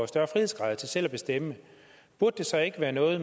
større frihedsgrader til selv at bestemme burde det så ikke være noget